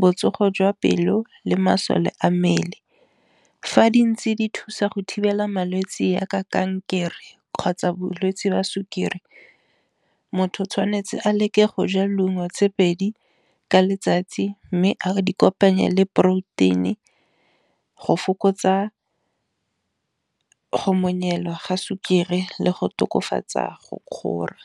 botsogo jwa pelo, le masole a mmele. Fa di ntse di thusa go thibela malwetse jaaka kankere kgotsa bolwetsi jwa sukiri, motho o tshwanetse a leke go ja leungo tse pedi ka letsatsi, mme a di kopanya le protein-i go fokotsa go monyelwa ga sukiri le go tokafatsa go kgora.